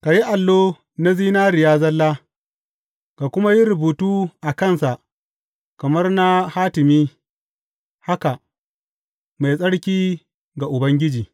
Ka yi allo na zinariya zalla, ka kuma yi rubutu a kansa kamar na hatimi, haka, Mai tsarki ga Ubangiji.